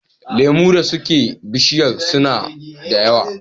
Lemu da suke bishiyar suna da yawa.